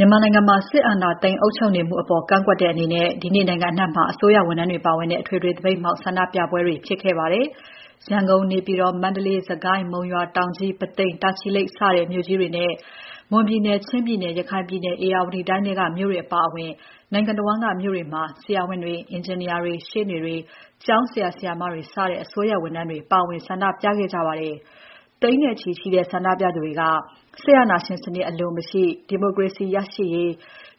မြန်မာနိုင်ငံမှာ စစ်အာဏာသိမ်း အုပ်ချုပ်မှုအပေါ် ကန့်ကွက်တဲ့အနေနဲ့ ဒီနေ့နိုင်ငံအနှံ့မှာ အစိုးရဝန်ထမ်းတွေပါဝင်တဲ့ အထွေထွေသပိတ်မှောက် ဆန္ဒပြပွဲတွေ ဖြစ်ခဲ့ပါတယ်။ ရန်ကုန်၊ နေပြည်တော်၊ မန္တလေး၊ စစ်ကိုင်း၊ မုံရွာ၊ တောင်ကြီး၊ ပုသိမ်၊ တာချီလိတ် စတဲ့ မြို့ကြီးတွေနဲ့ မွန်ပြည်နယ်၊ ချင်းပြည်နယ်၊ ရခိုင်ပြည်နယ်၊ ဧရာဝတီတိုင်းထဲက မြို့တွေအပါအဝင် နိုင်ငံတဝန်းက မြို့တွေမှာ ဆရာဝန်တွေ၊ အင်ဂျင်နီယာတွေ၊ ရှေ့နေတွေ၊ ကျောင်းဆရာ၊ ဆရာမတွေစတဲ့ အစိုးရဝန်ထမ်းတွေ ပါဝင်ဆန္ဒပြကြပါတယ်။ သိန်းနဲ့ချီရှိတဲ့ ဆန္ဒပြသူတွေက စစ်အာဏာရှင်စနစ်အလို မရှိ၊ ဒီမိုကရေစီ ရရှိရေး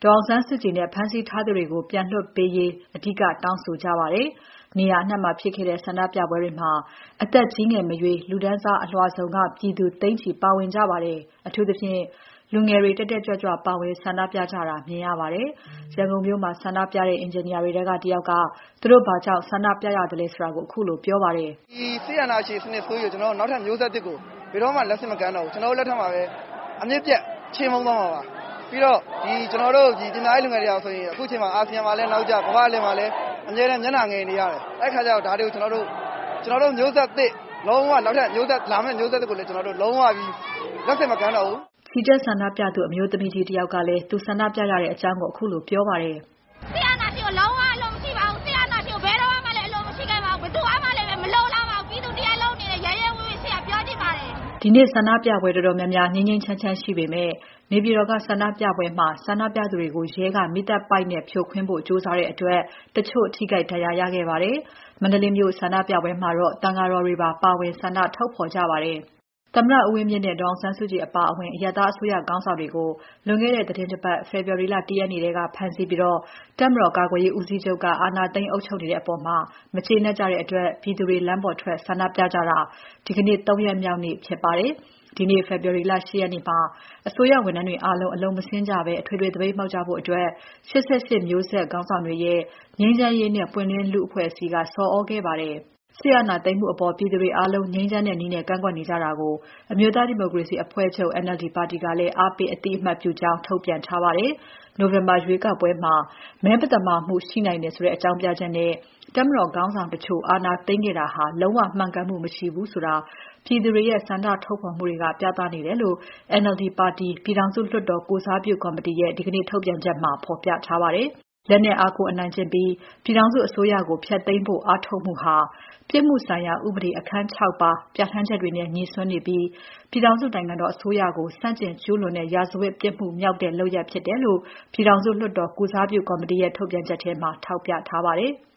၊ ဒေါ်အောင်ဆန်းစုကြည်နဲ့ ဖမ်းဆီးထားသူတွေကို ပြန်လွှတ်ပေးဖို့ အဓိကတောင်းဆိုကြပါတယ်။ နေရာအနှံ့မှာဖြစ်ခဲ့တဲ့ ဆန္ဒပြပွဲတွေမှာ အသက် ကြီးငယ်မရွေး၊ လူတန်းစားအလွှာစုံက ပြည်သူ သိန်းနဲ့ချီ ပါဝင်ကြပါတယ်။ အထူးသဖြင့် လူငယ်တွေ တက်တက်ကြွကြွ ပါဝင်ဆန္ဒပြကြတာမြင်ရပါတယ်။ ရန်ကုန်မြို့မှာ ဆန္ဒပြတဲ့ အင်ဂျင်နီယာတွေထဲက တယောက်က သူတို့ဘာကြောင့် ဆန္ဒပြရသလဲဆိုတာကို ခုလိုပြောပါတယ်။ "ဒီစစ်အာဏာရှင်စနစ်ဆိုးကြီးကို နောက်ထပ်မျိုးဆက်သစ်ကို ဘယ်တော့မှ လက်ဆင့်မကမ်းတော့ဘူး။ ကျနော်တို့ လက်ထက်မှာပဲ... အမြစ်ပြတ် ချေမှုန်းသွားမှာပါ။ ပြီးတော့ လူငယ်တွေဟာဆိုရင် အခုချိန်မှာ အာဆီယံမှာလည်း နောက်ကျ၊ ကမ္ဘာ့အလယ်မှာ အမြဲတမ်း မျက်နှာငယ်နေရတယ်။ အဲဒီအခါကျတော့ ကျနော်တို့ မျိုးဆက်သစ် နောက်ထပ်လာမယ့် မျိုးဆက်သစ်ကိုလည်း လုံးဝ လက်ဆင့်မကမ်းပါတော့ဘူး။" ချီတက်ဆန္ဒပြသူ အမျိုးသမီးကြီးတယောက်ကလည်း သူဆန္ဒပြရတဲ့အကြောင်းကို ခုလိုပြောပါတယ်။ "စစ်အာဏာရှင်ကို လုံးဝ အလိုမရှိပါဘူး။ စစ်အာဏာရှင်ကို ဘယ်တုန်းကမှလည်း အလိုမရှိခဲ့ပါဘူး။ ဘယ်သူကမှလည်း မလိုလားပါဘူး။ ပြည်သူတရပ်လုံးအနေနဲ့ ရဲရဲဝံ့ဝံ့ ပြောချင်ပါတယ်။" ဒီနေ့ဆန္ဒပြပွဲတော်တော်များများ ငြိမ်းငြိမ်းချမ်းချမ်း ရှိပေမဲ့ နေပြည်တော်က ဆန္ဒပြပွဲမှာ ဆန္ဒပြသူတွေကို ရဲက မီးသတ်ပိုက်နဲ့ ဖြိုခွင်းဖို့ ကြိုးစားတဲ့အတွက် တချို့ ထိခိုက်၊ ဒဏ်ရာရခဲ့ကြပါတယ်။ မန္တလေးမြို့ဆန္ဒပြပွဲမှာတော့ သံဃာတော်တွေပါ ပါဝင် ဆန္ဒထုတ်ဖော်ကြပါတယ်။ သမ္မတဦးဝင်းမြင့်နဲ့ ဒေါ်အောင်ဆန်းစုကြည် အပါအဝင် အရပ်သားအစိုးရခေါင်းဆောင်တွေကို ဖမ်းဆီးပြီး တပ်မတော်ကာကွယ်ရေးဦးစီးချုပ်က အာဏာသိမ်း အုပ်ချုပ်နေတဲ့အပေါ် မကျေနပ်ကြတဲ့အတွက် ပြည်သူတွေ လမ်းပေါ်ထွက် ဆန္ဒပြတာ ဒီနေ့ ၃ ရက်မြောက်နေ့ဖြစ်ပါတယ်။ ဒီနေ့ ဖေဖော်ဝါရီလ ၈ ရက်နေ့မှာ အစိုးရဝန်ထမ်းတွေ အားလုံး အလုပ်မဆင်းကြဘဲ အထွေထွေသပိတ်မှောက်ကြဖို့ ၈၈ မျိုးဆက်ခေါင်းဆောင်တွေရဲ့ ငြိမ်းချမ်းရေးနဲ့ ပွင့်လင်းလူ့ဘောင်အဖွဲ့က ဆော်သြခဲ့ပါတယ်။ စစ်အာဏာသိမ်းမှုအပေါ် ပြည်သူတွေအားလုံး ငြိမ်းချမ်းတဲ့နည်းနဲ့ ကန့်ကွက်နေကြတာကို အမျိုးသားဒီမိုကရေစီအဖွဲ့ချုပ် NLD ပါတီကလည်း အားပေး အသိအမှတ်ပြုကြောင်း ထုတ်ပြန်ထားပါတယ်။ နိုဝင်ဘာရွေးကောက်ပွဲမှာ မဲမသမာမှု ရှိနိုင်တယ်ဆိုတဲ့ အကြောင်းပြချက်နဲ့ တပ်မတော်ခေါင်းဆောင်တချို့ အာဏာသိမ်းခဲ့တာဟာ လုံးဝ မှန်ကန်မှု မရှိဘူးဆိုတာ ပြည်သူတွေရဲ့ ဆန္ဒထုတ်ဖော်မှုတွေက ပြသနေတယ်လို့ NLD ပါတီ ပြည်တော်စုလွှတ်တော်ကိုယ်စားပြု ကော်မတီရဲ့ ဒီနေ့ထုတ်ပြန်ချက်မှာ ဖော်ပြထားပါတယ်။ လက်နက်အားကိုး အနိုင်ကျင့်ပြီး ပြည်ထောင်စု အစိုးရကို ဖျက်သိမ်းဖို့ အားထုတ်မှုဟာ ပြစ်မှုဆိုင်ရာ ဥပဒေ အခန်း ၆ ပါ ပြဌာန်းချက်တွေနဲ့ ငြိစွန်းနေပြီး ပြည်ထောင်စုနိုင်ငံတော် အစိုးရကို ဆန့်ကျင် ကျူးလွန်တဲ့ ရာဇဝတ်ပြစ်မှုမြောက်တဲ့ လုပ်ရပ်ဖြစ်တယ်လို့ ပြည်ထောင်စုလွှတ်တော် ကိုယ်စားပြုကော်မတီရဲ့ ထုတ်ပြန်ချက်ထဲမှာ ထောက်ပြထားပါတယ်။